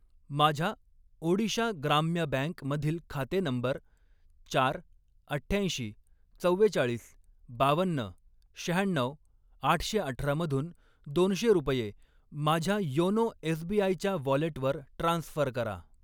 माझ्या ओडिशा ग्राम्य बँक मधील खाते नंबर चार, अठ्ठ्याऐंशी, चव्वेचाळीस, बावन्न, शहाण्णऊ, आठशे अठरा मधून दोनशे रुपये माझ्या योनो एसबीआय च्या वॉलेटवर ट्रान्स्फर करा.